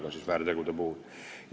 Seda siis väärtegude puhul.